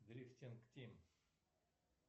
дрифтинг тим